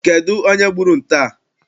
Kedụ onye gburu nte a?